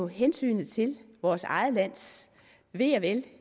hensynet til vores eget lands ve og vel